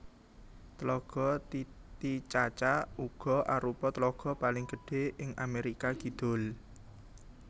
Tlaga Titicaca uga arupa tlaga paling gedhé ing Amérika Kidul